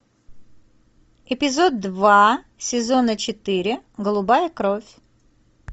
эпизод два сезона четыре голубая кровь